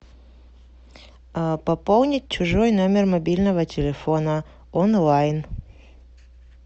пополнить чужой номер мобильного телефона онлайн